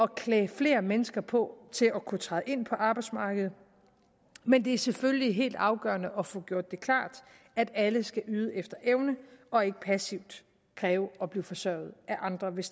klæde flere mennesker på til at kunne træde ind på arbejdsmarkedet men det er selvfølgelig helt afgørende at få gjort det klart at alle skal yde efter evne og ikke passivt kræve at blive forsørget af andre hvis